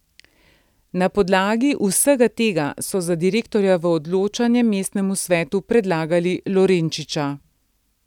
Na podlagi vsega tega so za direktorja v odločanje mestnemu svetu predlagali Lorenčiča.